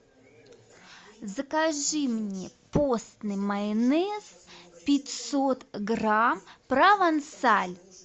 закажи мне постный майонез пятьсот грамм провансаль